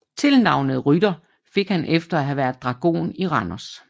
Tilnavnet Rytter fik han efter at have været dragon i Randers